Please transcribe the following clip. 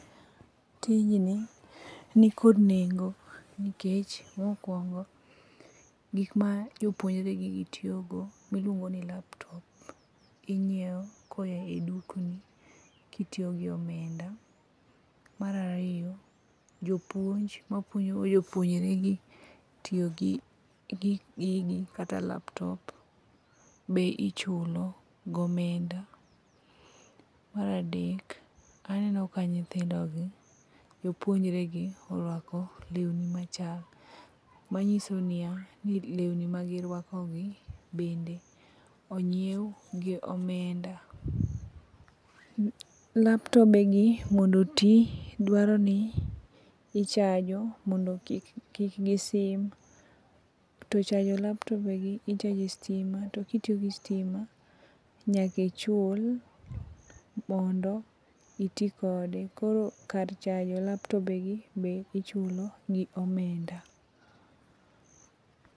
Tijni nikod nengo nikech mokuongo gik ma jopuonjregi tiyogo iluongo ni laptop, ing'iewo koa e dukni kitiyo gi omenda. Mar ariyo mjopuonj ma puonjo jopuonjregi tiyo gi gigi kata laptop be ichulo gomenda. Mar adek , aneno ka nyithindo jopuonjregi oriako lewni machal manyiso niya lewni magiruakogi bende ong'iew gi omenda. Laptop gi mondo oti ichajo mondo kik gisim to chajo laptop gi ichajo e stima to kitiyo gi sitima nyaka ichul mondo iti kode koro kar chajo laptop gi bende ichulo gi omenda